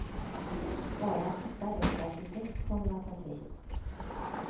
Bara att hitta rätt arkitekt kommer att ta tid.